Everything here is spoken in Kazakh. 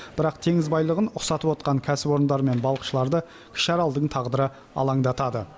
бірақ теңіз байлығын ұқсатып отқан кәсіпорындар мен балықшыларды кіші аралдың тағдыры алаңдатады